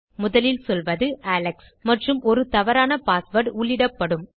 முதலில் சொல்வது அலெக்ஸ் மற்றும் ஒரு தவறான பாஸ்வேர்ட் உள்ளிடப்படும்